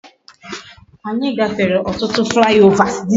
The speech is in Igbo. Anyi gafere otutu fly overs